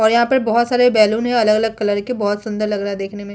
और यहाँ पे बहुत सारे बैलून है अलग - अलग कलर के बहुत सुंदर लग रहा है देखने में --